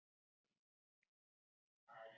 Það er viljann sem skortir.